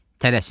Tələsin.